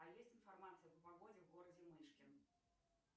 а есть информация по погоде в городе мышки